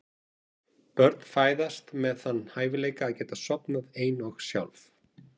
Börn fæðast með þann hæfileika að geta sofnað ein og sjálf.